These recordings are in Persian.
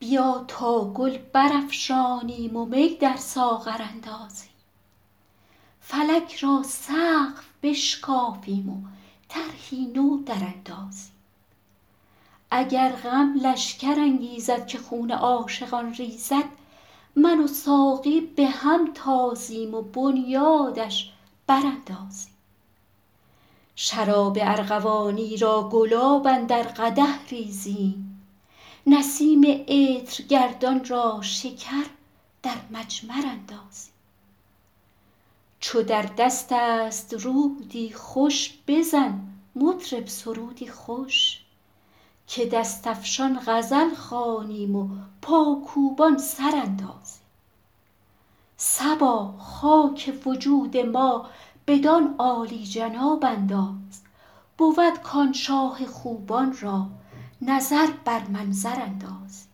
بیا تا گل برافشانیم و می در ساغر اندازیم فلک را سقف بشکافیم و طرحی نو دراندازیم اگر غم لشکر انگیزد که خون عاشقان ریزد من و ساقی به هم تازیم و بنیادش براندازیم شراب ارغوانی را گلاب اندر قدح ریزیم نسیم عطرگردان را شکر در مجمر اندازیم چو در دست است رودی خوش بزن مطرب سرودی خوش که دست افشان غزل خوانیم و پاکوبان سر اندازیم صبا خاک وجود ما بدان عالی جناب انداز بود کآن شاه خوبان را نظر بر منظر اندازیم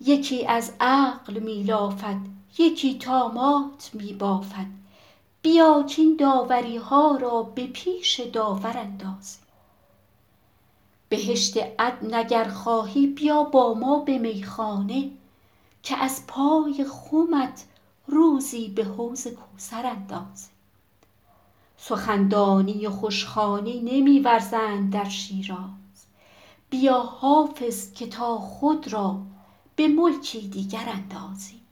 یکی از عقل می لافد یکی طامات می بافد بیا کاین داوری ها را به پیش داور اندازیم بهشت عدن اگر خواهی بیا با ما به میخانه که از پای خمت روزی به حوض کوثر اندازیم سخن دانی و خوش خوانی نمی ورزند در شیراز بیا حافظ که تا خود را به ملکی دیگر اندازیم